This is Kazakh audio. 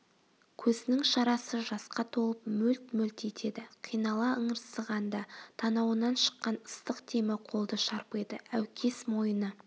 көзінің шарасы жасқа толып мөлт-мөлт етеді қинала ыңырсығанда танауынан шыққан ыстық демі қолды шарпиды әукес мойыны